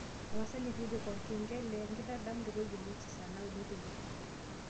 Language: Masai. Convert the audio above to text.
tapasali tipika orkengele e nkitadamunoto jumamosi saa naudo teipa